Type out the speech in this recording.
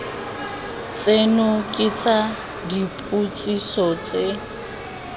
tseno ke tsa dipotsiso tse